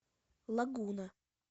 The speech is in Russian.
лагуна